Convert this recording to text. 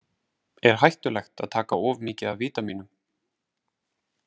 Er hættulegt að taka of mikið af vítamínum?